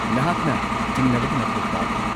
ꯅꯍꯥꯛꯅ ꯆꯤꯡꯅꯕꯒꯤ ꯃꯊꯧ ꯇꯥꯗꯦ꯫